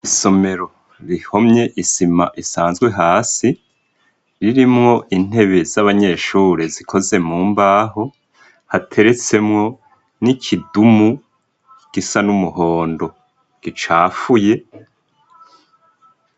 Isomero rihomye isima isanzwe hasi, harimwo intebe z'abanyeshure zikoze mu mbaho, hateretsemwo n'ikidumu gisa n'umuhondo gicafuye.